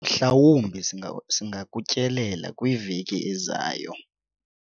mhlawumbi singakutyelela kwiveki ezayo